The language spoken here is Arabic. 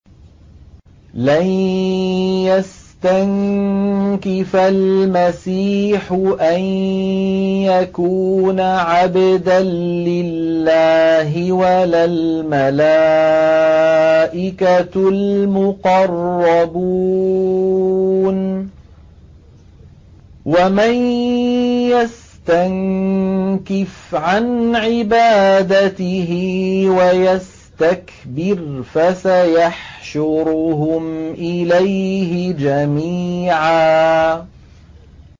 لَّن يَسْتَنكِفَ الْمَسِيحُ أَن يَكُونَ عَبْدًا لِّلَّهِ وَلَا الْمَلَائِكَةُ الْمُقَرَّبُونَ ۚ وَمَن يَسْتَنكِفْ عَنْ عِبَادَتِهِ وَيَسْتَكْبِرْ فَسَيَحْشُرُهُمْ إِلَيْهِ جَمِيعًا